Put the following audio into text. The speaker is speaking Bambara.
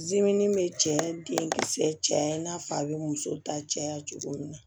zeni be cɛ den kisɛ cɛ i n'a fɔ a be muso ta caya cogo min na